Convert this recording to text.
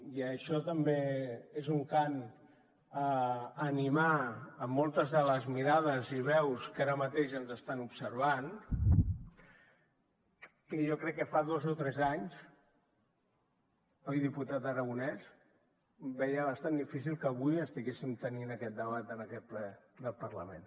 i això també és un cant a animar moltes de les mirades i veus que ara mateix ens estan observant que jo crec que fa dos o tres anys oi diputat aragonés veien bastant difícil que avui estiguéssim tenint aquest debat en aquest ple del parlament